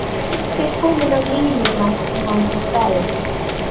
Guffi kominn á línuna í hans stað!